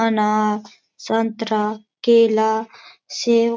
अनार संतरा केला सेब --